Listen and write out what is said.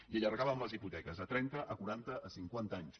i allargàvem les hipoteques a trenta a quaranta i a cinquanta anys